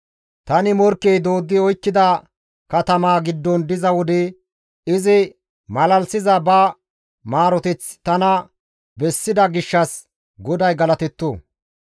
Tani morkkey dooddi oykkida katamaa giddon diza wode izi malalisiza ba maaroteth tana bessida gishshas GODAY galatetto.